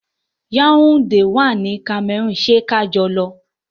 Yaunde wà ní Cameroon, ṣé kajọ lọ.